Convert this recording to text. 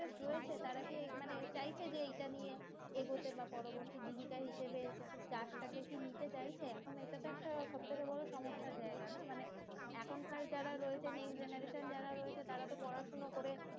রয়েছে তারা কি মানে চাইছে যে এটা নিয়ে এগোতে বা পরবর্তী জীবিকা হিসাবে চাষ টাকে কি নিতে চাইছে এখন এটা তো একটা সবথেকে বড় সমস্যার জায়গা না মানে এখন কার যারা রয়েছে next generation রয়েছে তারা তো পড়াশোনা করে